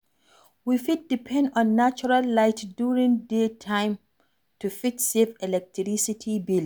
We fit depend on natural light during day time to fit save electricity bill